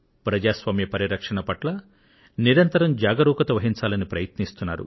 ప్రజాస్వామ్య పరిరక్షణ పట్ల నిరంతర జాగరూకత వహించాలని ప్రయత్నిస్తున్నారు